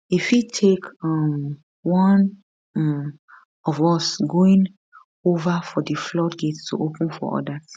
e fit take um one um of us going ova for di floodgates to open for for odas